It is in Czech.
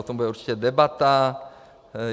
O tom bude určitě debata.